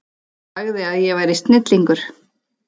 Sagði að ég væri snillingur.